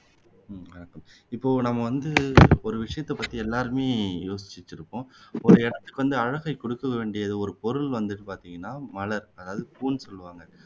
இப்போ நம்ம வந்து ஒரு விஷயத்தை பத்தி எல்லாருமே யோசிச்சு வச்சுருப்போம் ஒரு இடத்துக்கு வந்து அழகை கொடுக்க வேண்டியது ஒரு பொருள் வந்துட்டு பாத்தீங்கன்னா மலர் அதாவது பூன்னு சொல்லுவாங்க